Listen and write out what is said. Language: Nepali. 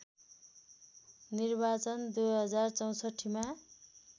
निर्वाचन २०६४ मा